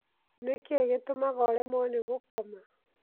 Nĩ kĩĩ gĩtũmaga ũremwo nĩ gũkoma?